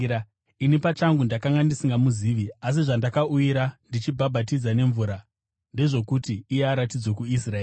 Ini pachangu ndakanga ndisingamuzivi, asi zvandakauyira ndichibhabhatidza nemvura ndezvokuti iye aratidzwe kuIsraeri.”